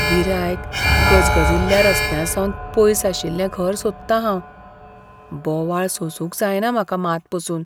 गिरायक, गजगजिल्ल्या रस्त्यांसावन पयस आशिल्लें घर सोदतां हांव, बोवाळ सोसूंक जायना म्हाका मात पसून.